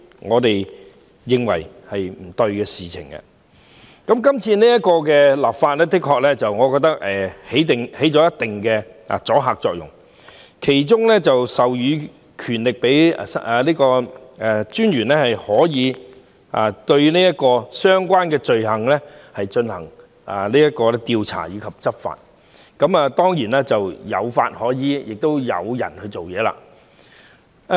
我認為是次立法可發揮一定阻嚇作用，因當中將會授權個人資料私隱專員就相關罪行進行調查及執法，亦即除了有法可依，亦有人員專責處理。